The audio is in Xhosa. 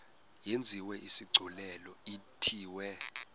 yenziwe isigculelo ithiwe